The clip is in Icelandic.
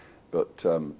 tvö